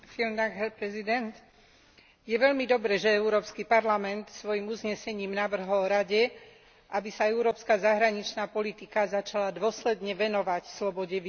Je veľmi dobre, že Európsky parlament svojím uznesením navrhol Rade, aby sa európska zahraničná politika začala dôsledne venovať slobode viery a náboženstva vo svete.